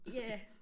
Ja